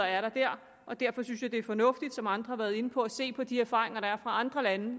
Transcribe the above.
er der og derfor synes jeg at det er fornuftigt som andre har været inde på at se på de erfaringer der er fra andre lande